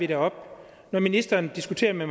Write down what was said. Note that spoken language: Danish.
det op når ministeren diskuterer med